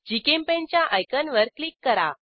GChemPaint च्या icon वर click करा